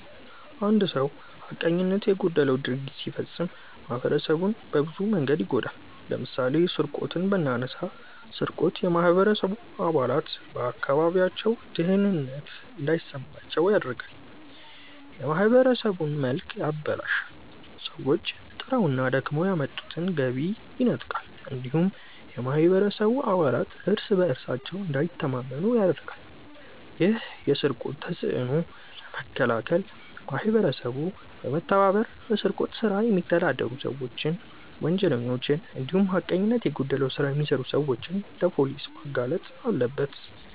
አንድ ሰው ሀቀኝነት የጎደለው ድርጊት ሲፈጽም ማህበረሰቡን በብዙ መንገድ ይጎዳል። ለምሳሌ ስርቆትን ብናነሳ ስርቆት የማህበረሰቡ አባላት በአካባቢያቸው ደህንነት እንዳይሰማቸው ያደርጋል፣ የማህበረሰቡን መልክ ያበላሻል፣ ሰዎች ጥረውና ደክመው ያመጡትን ገቢ ይነጥቃል እንዲሁም የማህበረሰቡ አባላት እርስ በእርሳቸው እንዳይተማመኑ ያደርጋል። ይህን የስርቆት ተጽዕኖ ለመከላከል ማህበረሰቡ በመተባበር በስርቆት ስራ የሚተዳደሩ ሰዎችን፣ ወንጀለኞችን እንዲሁም ሀቀኝነት የጎደለው ስራ የሚሰሩ ሰዎችን ለፖሊስ ማጋለጥ አለበት።